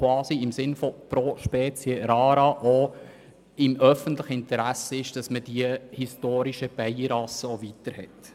Gemäss ProSpecieRara ist dies auch im öffentlichen Interesse, nämlich, dass man die historischen Bienenrassen erhält.